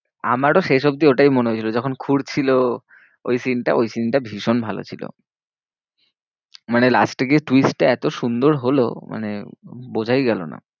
আমারও শেষ অব্দি ওটাই মনে হয়েছিল। যখন খুঁড়ছিলো ওই scene টা ওই scene টা ভীষণ ভালো ছিল। মানে last এ গিয়ে twist টা এত সুন্দর লহো, মানে বোঝাই গেলো না।